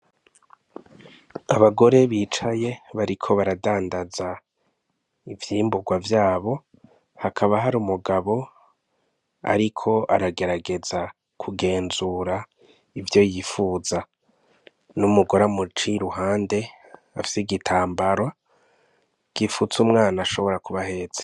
Abagore bicaye bariko baradandaza ivyimburwa vyabo hakaba hari umugabo ariko aragerageza kugenzura ivyo yifuza n'umugore amuciye iruhande afise igitambara gipfutse umwana ashobora kuba ahetse.